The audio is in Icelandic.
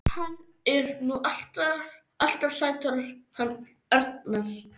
Hann er nú alltaf sætur hann Arnar.